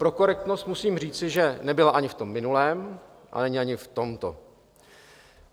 Pro korektnost musím říci, že nebyl ani v tom minulém, a není ani v tomto.